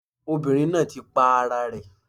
Obìnrin náà ti pa ara rẹ̀